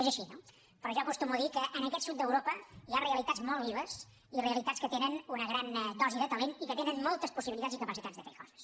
és així no però jo acostumo a dir que en aquest sud d’europa hi ha realitats molt vives i realitats que tenen una gran dosi de talent i que tenen moltes possibilitats i capacitats de fer coses